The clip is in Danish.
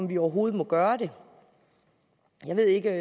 vi overhovedet gøre det jeg ved det ikke